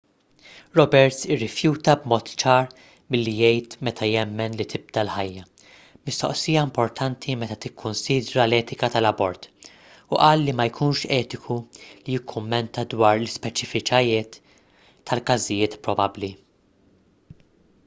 roberts irrifjuta b'mod ċar milli jgħid meta jemmen li tibda l-ħajja mistoqsija importanti meta tikkunsidra l-etika tal-abort u qal li ma jkunx etiku li jikkummenta dwar l-ispeċifiċitajiet tal-każijiet probabbli